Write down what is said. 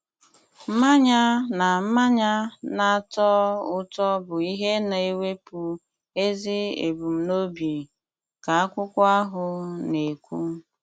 Mmanya na mmanya na-atọ ụtọ bụ ihe na-ewepụ ezi ebumnobi, ka akwụkwọ ahụ na-ekwu.